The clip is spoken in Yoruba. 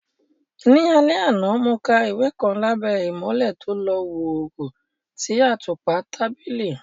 Ní alẹ́ àná, mo ka ìwé kan lábẹ́ ìmọ́lẹ̀ tó lọ́ wọ́ọ́rọ́ ti àtùpà tábìlì.